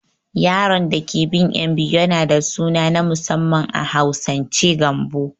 Yaron dake bin ƴan biyu yana da suna na musamman a Hausance Gambo